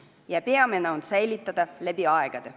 Ja peamine on säilitada keel läbi aegade.